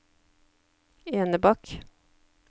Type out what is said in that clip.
Enebakk